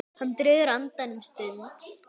Hann dregur andann um stund.